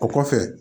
O kɔfɛ